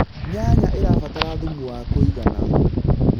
nyanya irabatara thumu wa kũigana